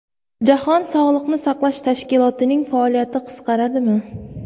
Jahon sog‘liqni saqlash tashkilotining faoliyati qisqaradimi?